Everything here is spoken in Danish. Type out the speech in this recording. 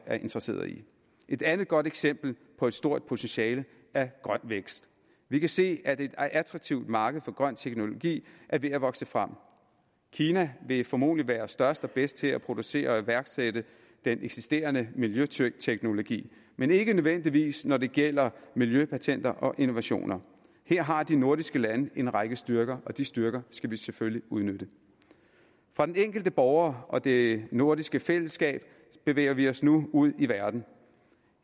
er interesseret i et andet godt eksempel på et stort potentiale er grøn vækst vi kan se at et attraktivt marked for grøn teknologi er ved at vokse frem kina vil formodentlig være størst og bedst til at producere og iværksætte den eksisterende miljøteknologi men ikke nødvendigvis når det gælder miljøpatenter og innovationer her har de nordiske lande en række styrker og de styrker skal vi selvfølgelig udnytte fra den enkelte borger og det nordiske fællesskab bevæger vi os nu ud i verden